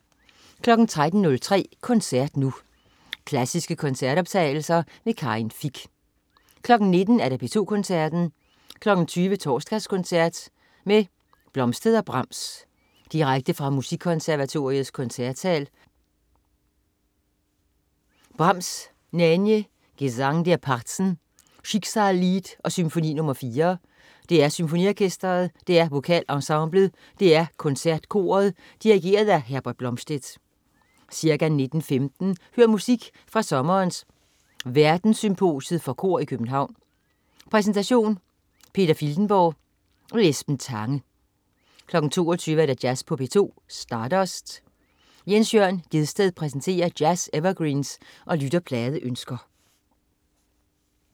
13.03 Koncert Nu. Klassiske koncertoptagelser. Karin Fich 19.00 P2 Koncerten. 20.00 Torsdagskoncert med Blomstedt og Brahms. Direkte fra Musikkonservatoriets Koncertsal. Brahms: Nänie, Gesang der Parzen, Schicksalslied og Symfoni nr. 4. DR SymfoniOrkestret, DR VokalEnsemblet, DR KoncertKoret. Dirigent: Herbert Blomstedt. Ca. 19.15 Hør musik fra sommerens Verdenssymposiet for Kor i København. Præsentation: Peter Filtenborg. Esben Tange 22.00 Jazz på P2. Stardust. Jens Jørn Gjedsted præsenterer jazz-evergreens og lytterpladeønsker